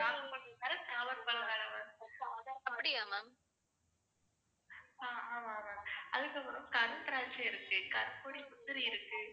அதுக்கப்புறம் கண்திராட்சை இருக்கு, கற்பொடி முந்திரி இருக்கு